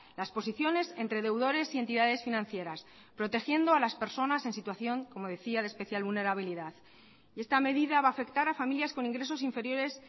las posiciones entre deudores y entidades financieras protegiendo a las personas en situación como decía de especial vulnerabilidad y esta medida va a afectar a familias con ingresos inferiores